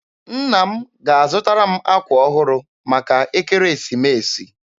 Nna m ga-azụtara m akwa ọhụrụ maka Ekeresimeesi.